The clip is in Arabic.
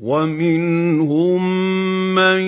وَمِنْهُم مَّن